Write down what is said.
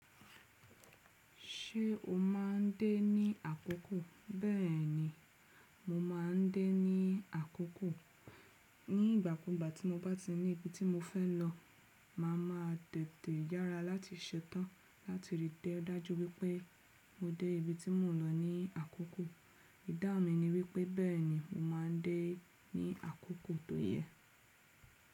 Ṣé o máa ń dé ní àkókò? Bẹ́ẹ̀ni, mo máa ń dé ní àkókò. Ní ìgbà kúgbà tí mo bá ti ní ibi tí mo fẹ́ lọ, màá ma tètè yára láti ṣetán láti rí i dájú wípé mo dé ibi tí mò ń lọ ní àkókò. Ìdáhun mi ni wípé bẹ́ẹ̀ni mo máa ń dé ní àkókò tó yẹ.